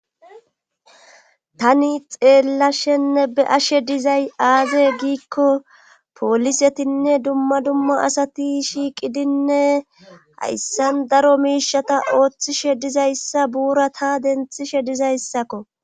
tani xeellashenne be'ashe dizay aaze giikko poolisetinne dumma dumma asati shiiqidinne hayssan daro miishata ooththishe dizayssa buura ta denthishe dizayssakko